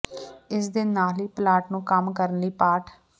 ਇਸ ਦੇ ਨਾਲ ਹੀ ਪਲਾਟ ਨੂੰ ਕੰਮ ਕਰਨ ਲਈ ਪਾਠ